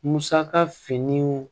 Musaka fini